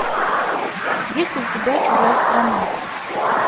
есть ли у тебя чужая страна